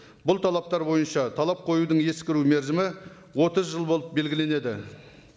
бұл талаптар бойынша талап қоюдың ескіру мерзімі отыз жыл болып белгіленеді